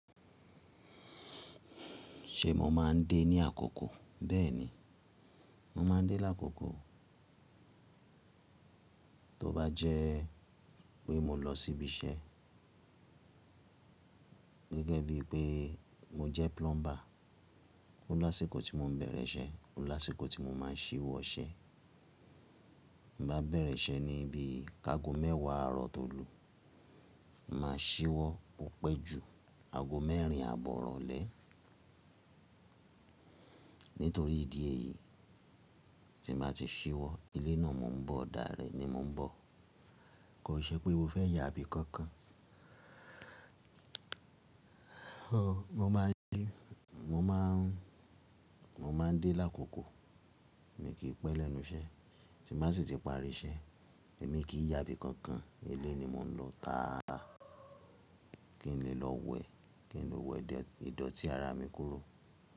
Ṣe mo ma ń dé ní àkókó? Bẹ́ẹ̀ni, mo máa ń dé lákókó. Tó bá jẹ́ pé mo lọ sí ibi iṣẹ́ gẹ́gẹ́ bí i pé mo jẹ́ plumber, ó lásìkò tí mo ń bẹ̀rẹ̀ iṣẹ́, ó lásìkò tí mo máa ṣíwọ́ iṣẹ́. Bí bá bẹ̀rẹ̀ iṣẹ́ ní ibi, ágó mẹ́wàá ààrọ̀ to lù, máa ṣíwọ́ o pẹ̀ ju àgó mẹ́rin àbọ̀ irọ̀lẹ́. Nítorí ìdí èyí, tí n bàá ti ṣíwọ́, ilé náà mò ń bọ̀, ni mò ń bọ̀. Kò n ṣe pé mo fẹ́ yà ibí kankan. Mo máa ń dé lákókó, mi kì í pẹ́ lẹ́nu iṣẹ́. Tí bàá sì ti pari iṣẹ́, èmi kì í yà ibí kankan. Ilé ni mò ń lọ tàáraa, kí n lè lọ wẹ̀, kí n lè wẹ̀ ìdọ̀tí ara mi kúrò.